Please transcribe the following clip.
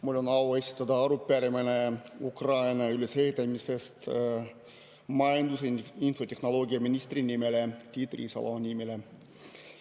Mul on au esitada arupärimine Ukraina ülesehitamise kohta majandus‑ ja infotehnoloogiaminister Tiit Riisalole.